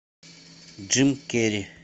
джим керри